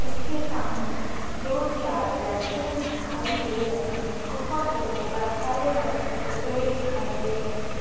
उसके सामने दो चार लड़के दिखाई दे रहे हैं गुफा के ऊपर हरे रंग के पेड़ दिखाई दे रहे हैं।